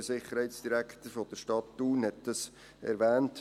Der Sicherheitsdirektor der Stadt Thun hat es erwähnt.